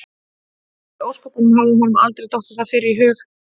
Því í ósköpunum hafði honum aldrei dottið það fyrr í hug?